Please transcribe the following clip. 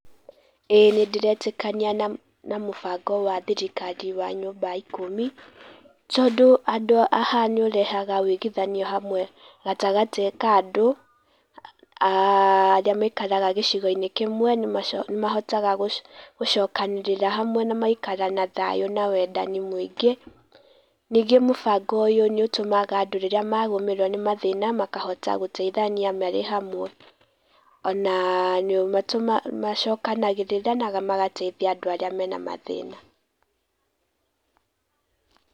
Ĩĩ nĩndĩretĩkania na mũbango wa thirikari wa nyũma ikũmi tondũ handũ haaha nĩũrehaga wũiguithanio wa hamwe gatagatĩ ka andũ arĩa maikaraga gĩcigo-inĩ kĩmwe, nĩmahotaga gũcokanĩrĩra hamwe na magaikara na thayũ na wendani mũingĩ. Ningĩ mũbango ũyũ nĩũtũmaga andũ rĩrĩa magũmĩrwo nĩ mathĩna makahota gũteithania marĩ hamwe, ona nĩmacokanagĩrĩra na magateithia andũ arĩa menamathĩna.